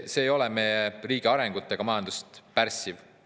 See ei ole meie riigi arengut ega majandust pärssiv.